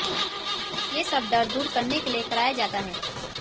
ये सब डर दूर करने के लिए कराया जाता है